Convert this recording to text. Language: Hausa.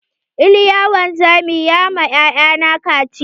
Iliya wanzami ya ma 'ya'ya na kaciya.